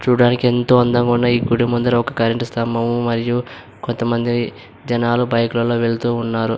చూడ్డానికి ఎంతో అందంగా ఉన్న ఈ గుడి ముందర ఒక కరెంటు స్తంభము మరియు కొంతమంది జనాలు బైక్ లో వెళ్తున్నారు.